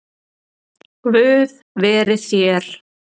Guð veri þér.